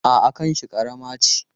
A'a, kanshi ƙarama ce.